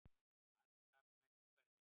Aðrir karlmenn í hverfinu?